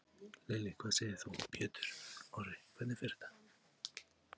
Lillý: Hvað segir þú Pétur Orri, hvernig fer þetta?